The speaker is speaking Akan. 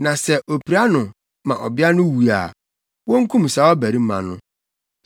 Na sɛ opira no ma ɔbea no wu a, wonkum saa ɔbarima no.